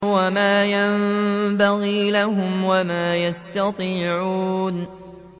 وَمَا يَنبَغِي لَهُمْ وَمَا يَسْتَطِيعُونَ